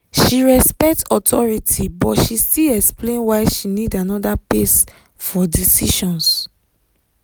she respect authority but she still explain why she need another pace for decisions.